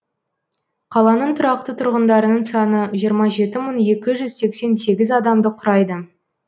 қаланың тұрақты тұрғындарының саны жиырма жеті мың екі жүз сексен сегіз адамды құрайды